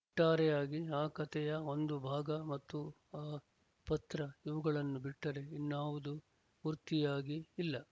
ಒಟ್ಟಾರೆಯಾಗಿ ಆ ಕಥೆಯ ಒಂದು ಭಾಗ ಮತ್ತು ಆ ಪತ್ರ ಇವುಗಳನ್ನು ಬಿಟ್ಟರೆ ಇನ್ನ್ಯಾವುದೂ ಪೂರ್ತಿಯಾಗಿ ಇಲ್ಲ